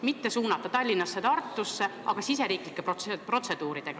Kas te olete analüüsinud, kuidas võiks seda raha mitte suunata Tallinnasse ja Tartusse, vaid mujale.